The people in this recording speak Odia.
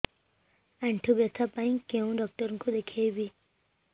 ଆଣ୍ଠୁ ବ୍ୟଥା ପାଇଁ କୋଉ ଡକ୍ଟର ଙ୍କୁ ଦେଖେଇବି